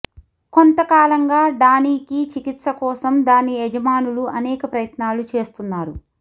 కొంత కాలంగా డానీకి చికిత్స కోసం దాని యజమానులు అనేక ప్రయత్నాలు చేస్తున్నారు